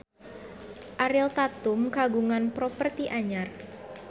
Ariel Tatum kagungan properti anyar